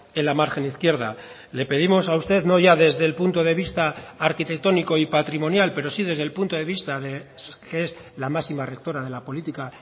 en la margen izquierda le pedimos a usted no ya desde el punto de vista arquitectónico y patrimonial pero sí desde el punto de vista que es la máxima rectora de la política